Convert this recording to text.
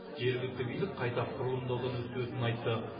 жергілікті билік қайта құрылымдаудан өткізетінін айтты